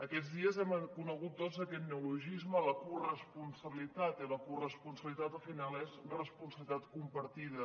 aquests dies hem conegut tots aquest neologisme la corresponsabilitat i la corresponsabilitat al final és responsabilitat compartida